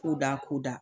Ko da ko da